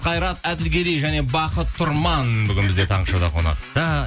қайрат әділгерей және бақыт тұрман бүгін бізде таңғы шоуда қонақта